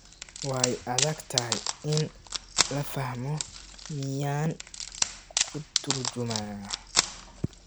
Way adag tahay in la fahmo, miyaan kuu turjumaa?